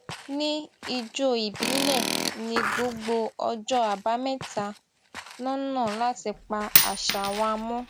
ní ijó ìbílẹ ní gbogbo ọjọ àbámẹta lọnà láti pa àṣà wa mọ